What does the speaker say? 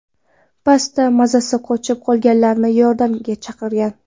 Pastda mazasi qochib, qolganlarni yordamga chaqirgan.